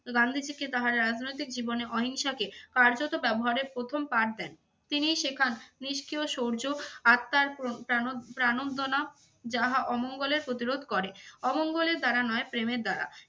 গান্ধীজীকে তাহারা রাজনৈতিক জীবনে অহিংসাকে কার্যত ব্যবহারের প্রথম পাঠ দেন। তিনিই শেখান নিষ্ক্রিয় সৌর্য আত্মার প্র~ প্রাণ~ প্রাণোদনা যাহা অমঙ্গলের প্রতিরোধ করে, অমঙ্গলের দ্বারা নয় প্রেমের দ্বারা।